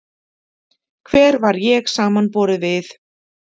Hver var ég samanborið við